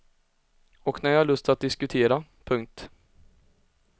Och när jag har lust att diskutera. punkt